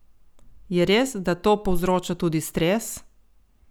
Je res, da to povzroča tudi stres?